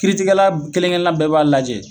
Kiritigɛla kelen kelen bɛɛ b'a lajɛ